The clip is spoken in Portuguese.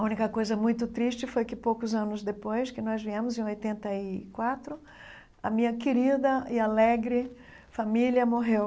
A única coisa muito triste foi que, poucos anos depois, que nós viemos em oitenta e quatro, a minha querida e alegre família morreu.